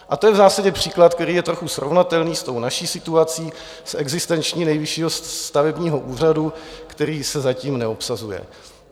A to je v zásadě příklad, který je trochu srovnatelný s tou naší situací, s existencí Nejvyššího stavebního úřadu, který se zatím neobsazuje.